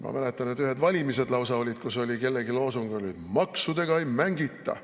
Ma mäletan, et olid lausa ühed valimised, kus kellelgi oli loosung, et maksudega ei mängita.